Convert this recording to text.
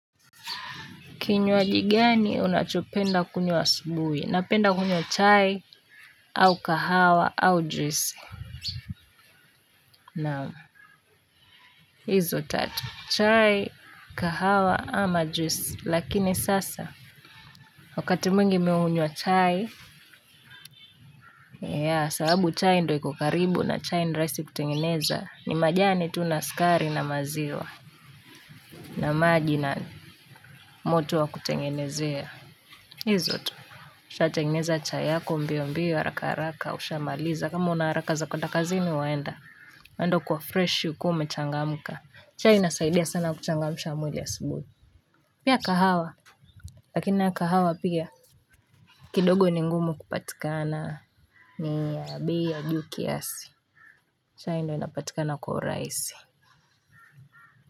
Kinywaji gani unachopenda kunywa asubuhi. Napenda kunywa chai au kahawa au juisi. Naam, hizo tatu. Chai, kahawa, ama juisi lakini sasa, wakati mwingi nimeunywa chai. Sababu chai ndio iko karibu na chai ni rahisi kutengeneza. Ni majani tu na sukari na maziwa. Na maji na moto wa kutengenezea. Hizo tu usha tengeneza chai yako mbio mbio haraka haraka usha maliza kama una haraka za kuends kazini wewe enda enda ukiwa freshi ukiwa umechangamka. Chai inasaidia sana kuchangamsha mwili asubuhi. Pia kahawa lakini kahawa pia kidogo ni ngumu kupatikana. Ni ya bei ya juu kiasi. Chai ndio inapatikana kwa urahisi.